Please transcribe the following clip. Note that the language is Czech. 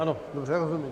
Ano, dobře, rozumím.